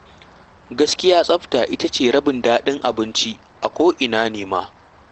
Gaskiya tsafta ita ce rabin daɗin abinci a ko'ina ne ma.